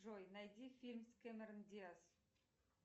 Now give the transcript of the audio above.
джой найди фильм с кэмерон диаз